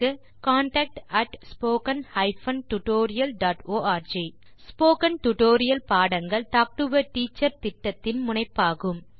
contact at spoken hyphen tutorial dot org spoken tutorial பாடங்கள் talk to a teacher திட்டத்தின் முனைப்பாகும்